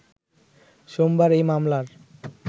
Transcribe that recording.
সোমবার এই মামলার